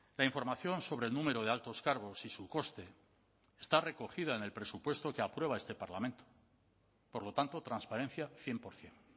la información sobre el número de altos cargos y su coste está recogida en el presupuesto que aprueba este parlamento por lo tanto transparencia cien por ciento